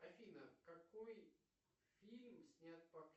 афина какой фильм снят по